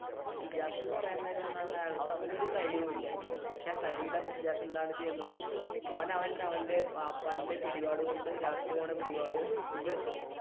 ഷിജാസ് എന്ന് പറയാൻ നേരം അവൻ ഒരു കഴിവും ഇല്ല പക്ഷെ കഴിവില്ലാത്ത ഷിജാസ് എന്താണ് ചെയ്യുന്നത് അവൻ അവന്റെ വാപ്പായുടെ പിടിപാട് കൊണ്ട് രാത്രി പോകുന്ന പിടിപാട് കൊണ്ട്